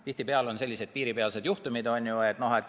Tihtipeale on selliseid piiripealseid juhtumeid.